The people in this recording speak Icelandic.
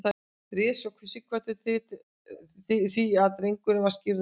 réð svo sighvatur því að drengurinn var skírður magnús